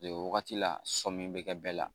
Wagati la sɔmi be kɛ bɛɛ la